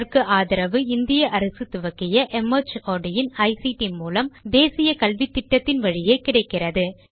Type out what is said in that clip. இதற்கு ஆதரவு இந்திய அரசு துவக்கிய மார்ட் இன் ஐசிடி மூலம் தேசிய கல்வித்திட்டத்தின் வழியே கிடைக்கிறது